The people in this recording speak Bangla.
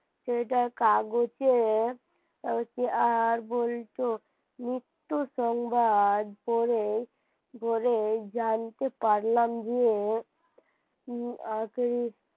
সেটা কাগজের আর বলতো মৃত্যুর সংবাদ পড়ে পড়ে জানতে পারলাম যে কি আগে,